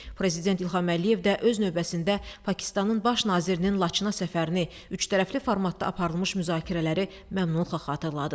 Prezident İlham Əliyev də öz növbəsində Pakistanın Baş nazirinin Laçına səfərini, üçtərəfli formatda aparılmış müzakirələri məmnunluqla xatırladı.